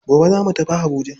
Gobe zamu tafi habuja.